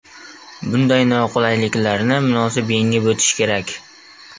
Bunday noqulayliklarni munosib yengib o‘tish kerak.